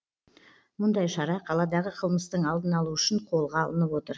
мұндай шара қаладағы қылмыстың алдын алу үшін қолға алынып отыр